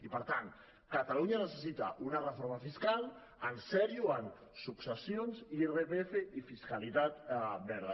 i per tant catalunya necessita una reforma fiscal en sèrio en successions irpf i fiscalitat verda